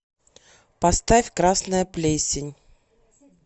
поставь красная плесень